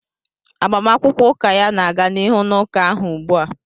Agbamakwụkwọ ụka ya na-aga n'ihu n'ụka ahụ ugbu a